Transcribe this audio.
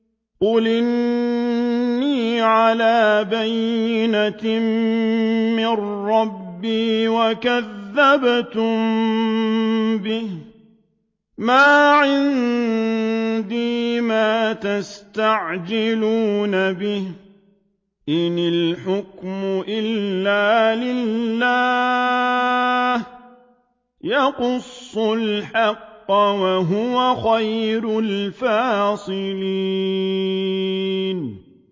قُلْ إِنِّي عَلَىٰ بَيِّنَةٍ مِّن رَّبِّي وَكَذَّبْتُم بِهِ ۚ مَا عِندِي مَا تَسْتَعْجِلُونَ بِهِ ۚ إِنِ الْحُكْمُ إِلَّا لِلَّهِ ۖ يَقُصُّ الْحَقَّ ۖ وَهُوَ خَيْرُ الْفَاصِلِينَ